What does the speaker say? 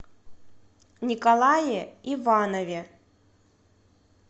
николае иванове